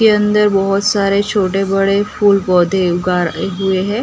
के अंदर बहोत सारे छोटे बड़े फूल पौधे उगार ये हुए हैं।